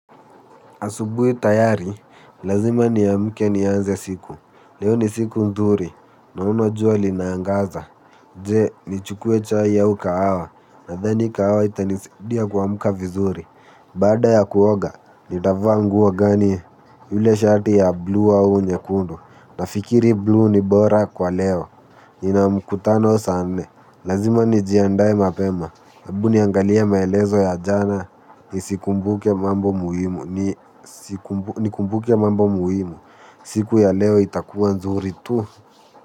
Asubuhi tayari, lazima niamke nianze siku, leo ni siku nzuri, naono jua linaangaza, je, nichukue chai au kahawa, nadhani kahawa itanisidia kuamka vizuri. Baada ya kuoga, nitavaa nguo gani, yule shati ya bluu au nyekundu, nafikiri bluu ni bora kwa leo, nina mkutano saa nne. Lazima nijiandae mapema hebu niangalie maelezo ya jana nisikumbuke. Nikumbuke mambo muhimu. Siku ya leo itakuwa nzuri tu.